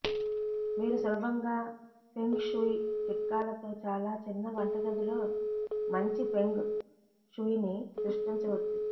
మీరు సులభంగా feng shui చిట్కాలతో చాలా చిన్న వంటగదిలో మంచి ఫెంగ్ షుయ్ని సృష్టించవచ్చు